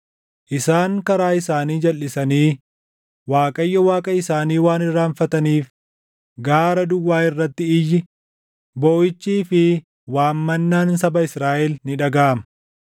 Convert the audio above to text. Isaan karaa isaanii jalʼisanii Waaqayyo Waaqa isaanii waan irraanfataniif gaara duwwaa irratti iyyi, booʼichii fi waammannaan saba Israaʼel ni dhagaʼama.